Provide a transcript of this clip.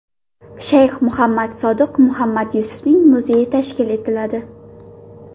Shayx Muhammad Sodiq Muhammad Yusufning muzeyi tashkil etiladi.